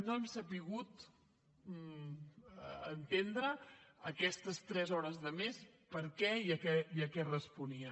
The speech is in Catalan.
no hem sabut entendre aquestes tres hores de més per què i a què responien